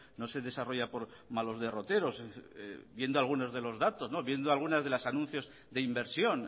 no se desarrolla por malos derroteros viendo algunos de los datos viendo algunas de los anuncios de inversión